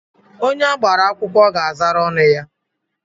Onye agbara akwụkwọ ga-azara ọnụ ya.